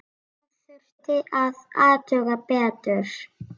Þetta þurfti að athuga betur.